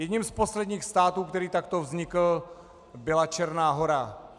Jedním z posledních států, který takto vznikl, byla Černá Hora.